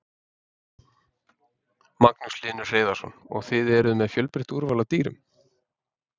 Magnús Hlynur Hreiðarsson: Og þið eruð með fjölbreytt úrval af dýrum?